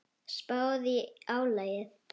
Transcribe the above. Spáðu í álagið.